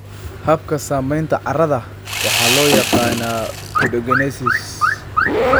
Habka samaynta carrada waxaa loo yaqaannaa pedogenesis.